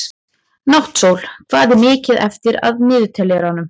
Náttsól, hvað er mikið eftir af niðurteljaranum?